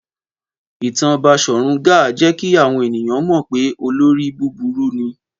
Ìtàn Baṣọ̀run Gáà jẹ́ kí àwọn ènìyàn mọ̀ pé olórí búburú ni.